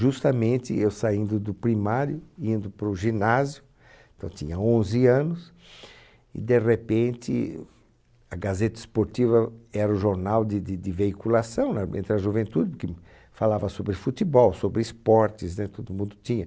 Justamente, eu saindo do primário, indo para o ginásio, então tinha onze anos, e, de repente, a Gazeta Esportiva era o jornal de de de veiculação, né? Entre a juventude, porque falava sobre futebol, sobre esportes, né? Todo mundo tinha.